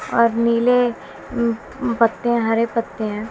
और नीले अं अ पत्ते हरे पत्ते हैं।